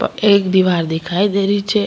एक दिवार दिखाई दे रही छे।